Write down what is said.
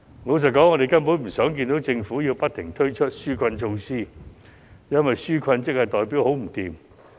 老實說，我們根本不想看到政府不停推出紓困措施，因為需要紓困代表市道很差。